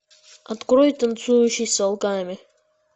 открой танцующий с волками